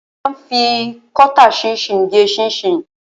A ma ń fi kọ́tà ṣinṣin gé ṣinṣin.